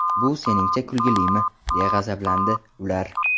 Bu seningcha kulgilimi?”, deya g‘azablandi ular.